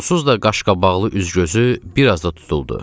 Onsuz da qaşqabaqlı üzgözü bir az da tutuldu.